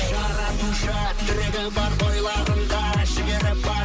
жаратушы тірегі бар бойларында жігері бар